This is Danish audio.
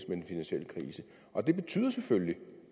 den finansielle krise og det betyder selvfølgelig